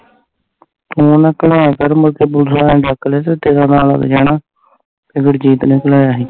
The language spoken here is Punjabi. ਊ ਨਾ ਘਲਾਇਆ ਕਰ ਮੁੜ ਪੁਲਸ ਆਲਿਆ ਨੇ ਡੱਕ ਲਿਆ ਤੇ ਤੇਰਾ ਨਾ ਲੱਗ ਜਾਣਾ ਵੀ ਗੁਰਜੀਤ ਨੇ ਘਲਾਇਆ ਸੀ